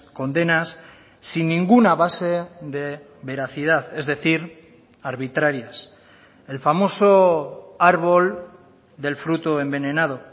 condenas sin ninguna base de veracidad es decir arbitrarias el famoso árbol del fruto envenenado